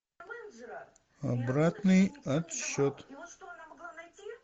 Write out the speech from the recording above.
обратный отсчет